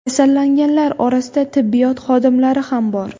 Kasallanganlar orasida tibbiyot xodimlari ham bor .